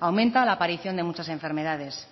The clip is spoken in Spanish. aumenta la aparición de muchas enfermedades